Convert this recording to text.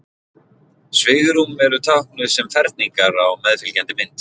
Svigrúm eru táknuð sem ferningar á meðfylgjandi mynd.